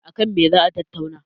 a kan me za a tattauna?